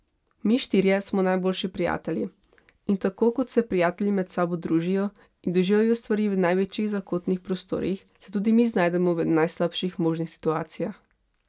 Mi štirje smo najboljši prijatelji in tako kot se prijatelji med sabo družijo in doživljajo stvari v največjih zakotnih prostorih, se tudi mi znajdemo v najslabših možnih situacijah.